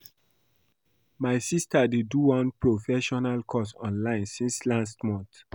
My sister dey do one professional course online since last month